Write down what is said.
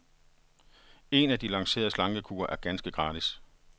En af lancerede slankekure er ganske gratis.